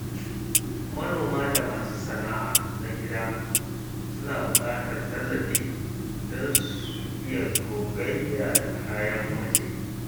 Manoma da masu sana’a na gida suna buƙatar tallafi don su iya gogayya da kayan waje.